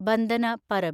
Bandna Parab